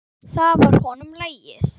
Það var honum lagið.